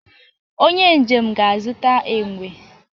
onye njem ga-azụta enwe